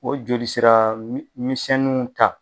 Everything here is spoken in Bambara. O joli sera misɛninw ta